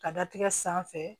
Ka datigɛ sanfɛ